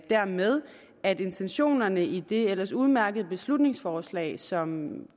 dermed at intentionerne i det ellers udmærkede beslutningsforslag som